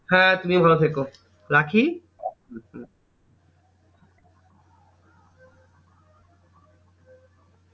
হ্যাঁ তুমিও ভালো থেকো। রাখি?